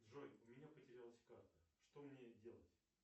джой у меня потерялась карта что мне делать